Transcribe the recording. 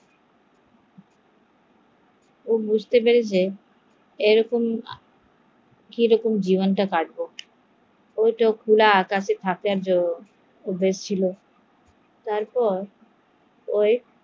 ও বুঝতে পারছে এরকম কি করে জীবন কাটাবো, ও তো খোলা আকাশের নিচে থাকে এরকম তো পারেনা